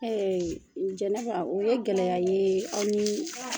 Eee jɛnɛba o ye gɛlɛya aw nii